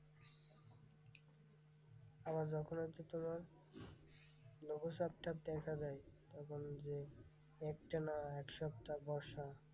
আবার যখন হচ্ছে তোমার লঘুচাপ টাপ দেখা যায় তখন যে, একটানা একসপ্তা বর্ষা।